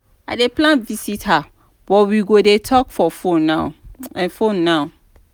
i dey plan visit her but we go dey talk for fone now. fone now.